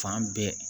Fan bɛɛ